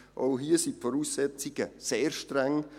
Auch hier sind die Voraussetzungen sehr streng: